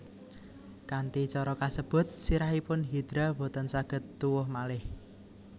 Kanthi cara kasebut sirahipun Hidra boten saged tuwuh malih